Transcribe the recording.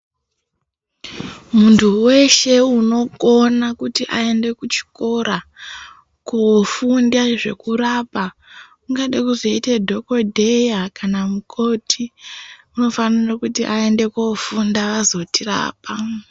Muntu weshe unokona kuti aende kuchikora kofunda zvekurapa ungade kuzoite dhokodheya kana mukoti unofanira kuti aende kofunda azotirapa.